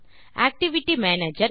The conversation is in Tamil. activity manager